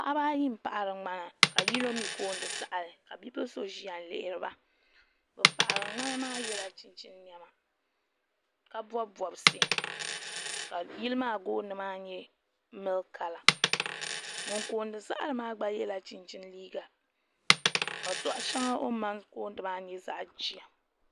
paɣaba ayi n paɣri ŋmana ka yino mi kooni saɣri ka bipuɣin so ʒiya n lihiri ba ŋun paɣri ŋmana maa yɛ la chinchina nɛma ka bɔbi bɔbsi ka yili maa jooni maa nyɛ miliki kala ŋun kooni saɣri maa gba nyɛla ŋun yɛ chinchini liiga ka sɔɣu shɛŋa o ni mali kooni maa nyɛ zaɣ jia